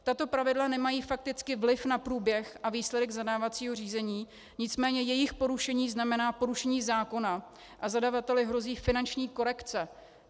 Tato pravidla nemají fakticky vliv na průběh a výsledek zadávacího řízení, nicméně jejich porušení znamená porušení zákona a zadavateli hrozí finanční korekce.